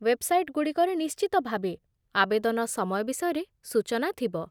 ୱେବ୍‌ସାଇଟ୍‌ଗୁଡ଼ିକରେ ନିଶ୍ଚିତ ଭାବେ ଆବେଦନ ସମୟ ବିଷୟରେ ସୂଚନା ଥିବ